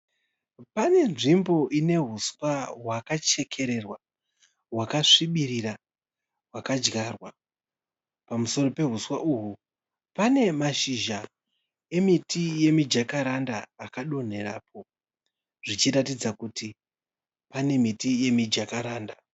Pane nzvimbo ine huswa hwakachekererwa hwakasvibirira hwakadyarwa. Pamusoro pehuswa uhu pane mashizha emiti yemijakaranda akadonherapo zvichiratidza kuti pane miti yemijakaranda.